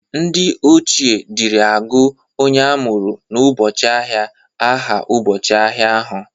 Ndị ochie dịri agụ onye amụru n'ụbọchị ahịa aha ụbọchị ahia ahụ.